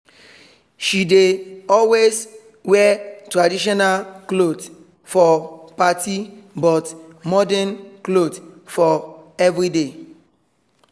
she dey always wear traditional cloth for party but modern cloth for everyday